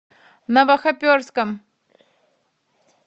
новохоперском